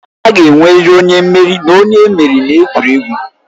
A ga-enwerịrị onye mmeri na onye emeriri n'egwuregwu.